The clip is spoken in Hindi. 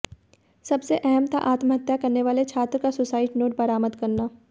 सबसे अहम था आत्महत्या करने वाले छात्र का सुसाइड नोट बरामद करना